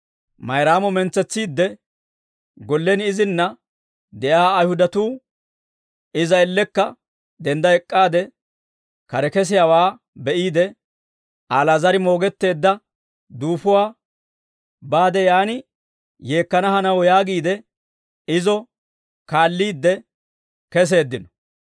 Mayraamo mentsetsiidde, gollen izinna de'iyaa Ayihudatuu, iza ellekka dendda ek'k'aade kare kesiyaawaa be'iide, Ali'aazar moogetteedda duufuwaa baade yaan yeekkanaw hanaw yaagiide, izo kaalliide keseeddino.